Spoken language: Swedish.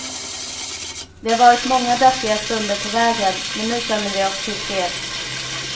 Det har varit många deppiga stunder på vägen, men nu känner vi oss tillfreds.